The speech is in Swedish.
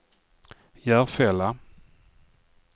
Järfälla